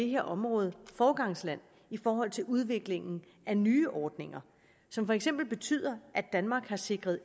her område foregangsland i forhold til udviklingen af nye ordninger som for eksempel betyder at danmark har sikret